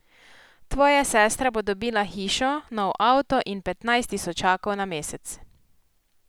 Tvoja sestra bo dobila hišo, nov avto in petnajst tisočakov na mesec.